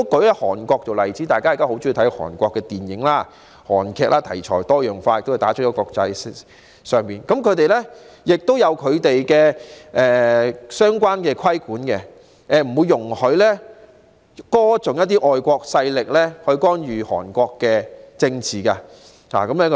以現時大家都很喜歡觀看的韓國電影及劇集為例，其題材多樣化，亦已打入國際市場，但並不表示全無規管，因他們並不容許加入歌頌外國勢力干預韓國政治的內容。